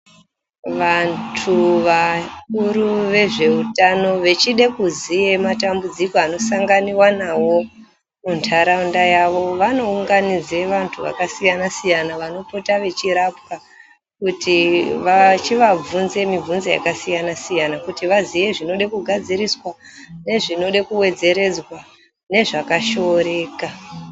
Vantu vakuru vezveutano vechide kuziye matambudziko anosanganiwa nawo muntaraunda yavo, vanounganidze vantu vakasiyana-siyana vanopota vechirapwa kuti vachivabvunze mibvunzo yakasiyana-siyana kuti vaziye zvinode kugadziriswa nezvinode kuwedzeredzwa, nazvakashoreka.